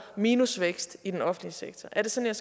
minusvækst i den offentlige sektor er det sådan